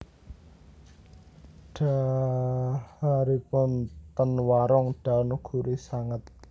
Dhaharipun ten Warung Daun gurih sanget